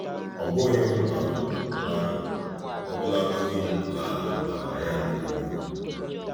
Ọ bụghị um mmadụ, ọbụlagodi ma a ma ya nke ukwuu.